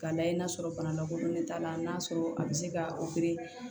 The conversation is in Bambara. K'a lajɛ n'a sɔrɔ bana lakodɔnnen t'a la n'a sɔrɔ a bi se ka